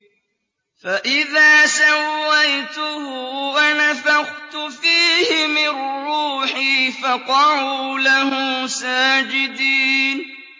فَإِذَا سَوَّيْتُهُ وَنَفَخْتُ فِيهِ مِن رُّوحِي فَقَعُوا لَهُ سَاجِدِينَ